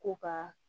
Ko ka